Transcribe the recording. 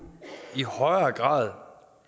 i højere grad